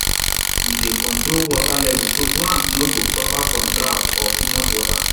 e dey control water level so plants no go suffer from drought or too much water